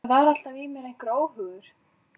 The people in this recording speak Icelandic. Það var alltaf í mér einhver óhugur.